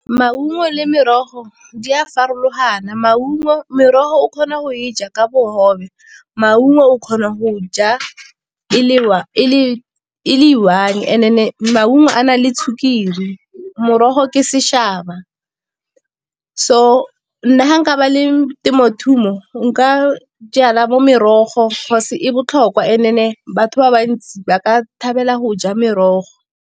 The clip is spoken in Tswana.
Maungo le merogo di a farologana, merogo o kgona go e ja ka bogobe, maungo o kgona go ja le i-one. Maungo a na le sukiri morogo ke . So nna nka ba le nka jala bo merogo e botlhokwa and-e batho ba bantsi ba ka thabela go ja merogo.